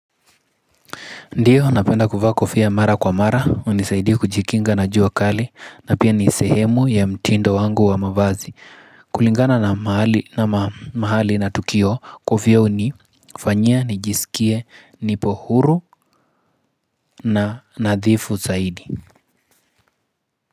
Ndiyo, napenda kuvaa kofia mara kwa mara, hunisaidi kujikinga na jua kali, na pia nisehemu ya mtindo wangu wa mavazi. Kulingana na mahali na tukio, kofia hunifanya, nijisikie, nipo huru na nadhifu zaidi.